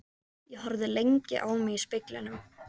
Ég horfði lengi á mig í speglinum.